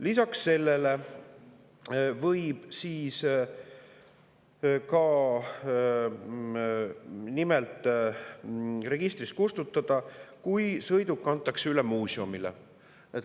Lisaks sellele võib sõiduki registrist kustutada, kui see antakse üle muuseumile.